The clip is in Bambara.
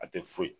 A tɛ foyi